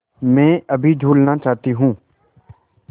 मैं अभी झूलना चाहती हूँ